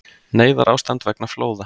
Neyðarástand vegna flóða